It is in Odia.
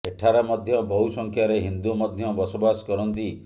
ଏଠାରେ ମଧ୍ୟ ବହୁ ସଂଖ୍ୟାରେ ହିନ୍ଦୁ ମଧ୍ୟ ବସବାସ କରନ୍ତି